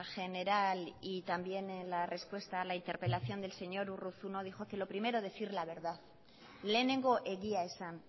general y también en la respuesta a la interpelación del señor urruzuno dijo que lo primero decir la verdad lehenengo egia esan